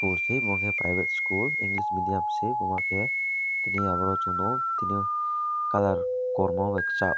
bosi bo ke private school english medium se wahh ke tini omo chung nug tini colour kormo bai kwchak.